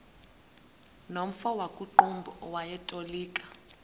nomfo wakuqumbu owayetolika